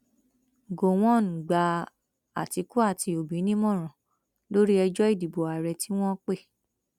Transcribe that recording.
gọwọn gba àtìkù àti òbí nímọràn lórí ẹjọ ìdìbò ààrẹ tí wọn pè